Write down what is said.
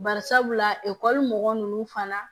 Bari sabula ekɔli mɔgɔ ninnu fana